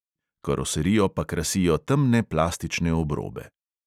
Od običajnega golfa je dvajset milimetrov višji, karoserijo pa krasijo temne plastične obrobe.